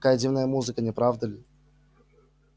какая дивная музыка не правда ли